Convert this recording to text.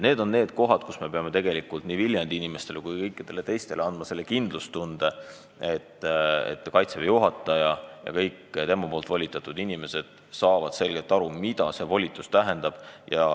Nii et me peame tegelikult nii Viljandi inimestele kui kõikidele teistele andma kindlustunde, et Kaitseväe juhataja ja kõik tema volitatavad inimesed saavad selgelt aru, mida see volitus tähendab.